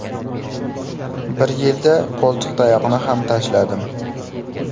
Bir yilda qo‘ltiqtayoqni ham tashladim.